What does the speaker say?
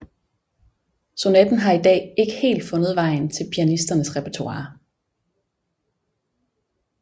Sonaten har i dag ikke helt fundet vejen til pianisternes repertoire